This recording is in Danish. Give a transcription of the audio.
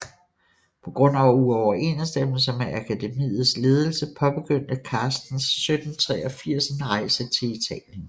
På grund af uoverensstemmelser med akademiets ledelse påbegyndte Carstens 1783 en rejse til Italien